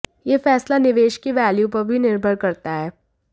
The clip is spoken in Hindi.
यह फैसला निवेश की वैल्यू पर भी निर्भर करता है